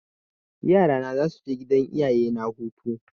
Yara na za su je gidan iyayena hutu.